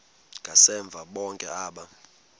ngasemva bonke aba